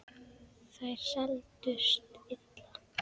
Þær seldust illa.